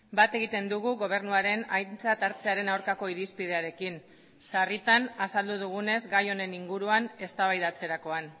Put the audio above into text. bat egiten dugu gobernuaren aintzat hartzearen aurkako irizpidearekin sarritan azaldu dugunez gai honen inguruan eztabaidatzerakoan